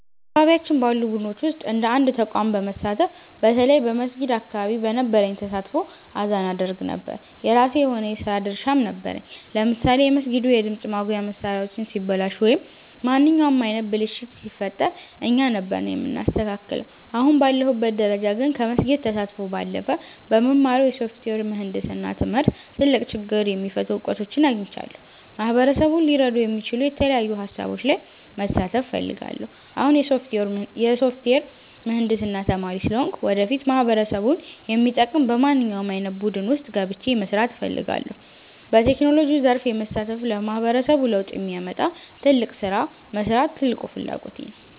በአካባቢያችን ባሉ ቡድኖች ውስጥ እንደ አንድ ተቋም በመሳተፍ፣ በተለይ በመስጊድ አካባቢ በነበረኝ ተሳትፎ አዛን አደርግ ነበር። የራሴ የሆነ የሥራ ድርሻም ነበረኝ፤ ለምሳሌ የመስጊዱ የድምፅ ማጉያ መሣሪያዎች ሲበላሹ ወይም ማንኛውም ዓይነት ብልሽት ሲፈጠር እኛ ነበርን የምናስተካክለው። አሁን ባለሁበት ደረጃ ግን፣ ከመስጊድ ተሳትፎ ባለፈ በምማረው የሶፍትዌር ምህንድስና ትምህርት ትልቅ ችግር የሚፈቱ እውቀቶችን አግኝቻለሁ። ማህበረሰቡን ሊረዱ የሚችሉ የተለያዩ ሃሳቦች ላይ መሳተፍ እፈልጋለሁ። አሁን የሶፍትዌር ምህንድስና ተማሪ ስለሆንኩ፣ ወደፊት ማህበረሰቡን የሚጠቅም በማንኛውም ዓይነት ቡድን ውስጥ ገብቼ መሥራት እፈልጋለሁ። በቴክኖሎጂው ዘርፍ በመሳተፍ ለማህበረሰቡ ለውጥ የሚያመጣ ትልቅ ሥራ መሥራት ትልቁ ፍላጎቴ ነው።